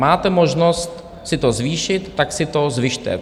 Máte možnost si to zvýšit, tak si to zvyšte.